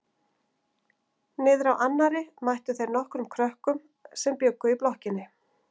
Niðrá annarri mættu þeir nokkrum krökkum sem bjuggu í blokkinni.